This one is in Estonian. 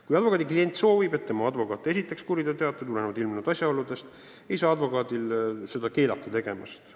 Kui klient soovib, et tema advokaat esitaks tulenevalt ilmnenud asjaoludest kuriteoteate, siis ei saa advokaati keelata seda tegemast.